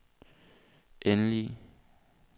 endelige